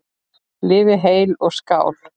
Lifið heil og skál!